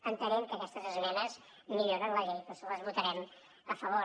entenent que aquestes esmenes milloren la llei per això les votarem a favor